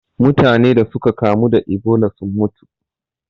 Mutane da suka kamu da Ebola sun mutu.